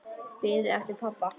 Biðin eftir pabba.